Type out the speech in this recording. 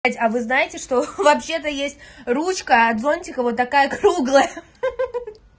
а вы знаете что вообще-то есть ручка от зонтика вот такая круглая